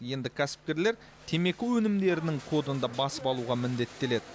енді кәсіпкерлер темекі өнімдерінің кодын да басып алуға міндеттеледі